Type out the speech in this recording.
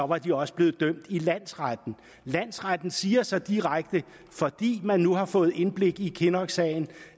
var de også blevet dømt i landsretten landsretten siger så direkte at fordi man nu har fået indblik i kinnocksagen